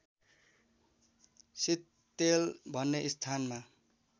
सिक्तेल भन्ने स्थानमा